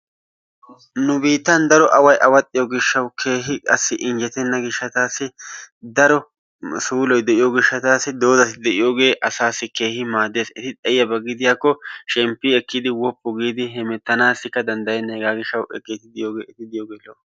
Nu biittan daro away awaxxiyo gishshawu keehi qassi injjettenna gishshatassi daro suuloy de'iyo gishshatassi doozati de'iyogee asaassi keehi maaddees. Eti xayiyaba gidiyakko shemppi ekkidi woppu giidi hemettanaassikka danddena, hegaa gishshatassi eti diyoge lo"o.